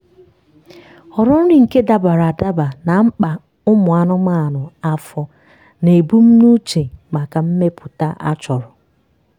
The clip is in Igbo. họrọ nri nke dabara adaba na mkpa ụmụ anụmanụ afọ na ebumnuche maka mmepụta a chọrọ